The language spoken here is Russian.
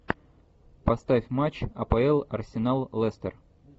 поставь матч апл арсенал лестер